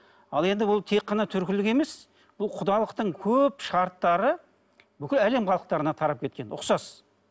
ал енді бұл тек қана түркілік емес бұл құдалықтың көп шарттары бүкіл әлем халықтарына тарап кеткен ұқсас